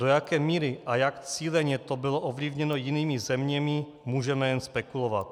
Do jaké míry a jak cíleně to bylo ovlivněno jinými zeměmi, můžeme jen spekulovat.